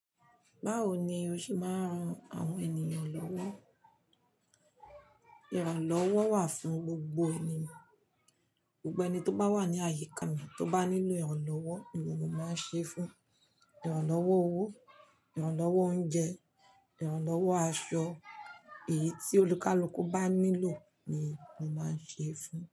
Báwo ni o ṣe máa ń ran àwọn ènìyàn lọ́wọ́? Ìrànlọ́wọ́ wà fún gbogbo ènìyàn, gbogbo ẹni tó bá wà ní àyíká mi tó bá nílò ìrànlọ́wọ́ ni mo máa ń ṣe fún. Ìrànlọ́wọ́ owó, ìrànlọ́wọ́ oúnjẹ, ìrànlọ́wọ́ aṣọ, èyí tí olùkúlùkù bá nílò ni mo máa ń ṣe fún.